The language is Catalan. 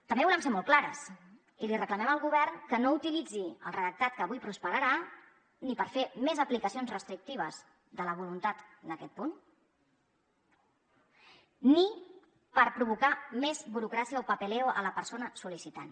també volem ser molt clares i li reclamem al govern que no utilitzi el redactat que avui prosperarà ni per fer més aplicacions restrictives de la voluntat en aquest punt ni per provocar més burocràcia o papeleo a la persona sol·licitant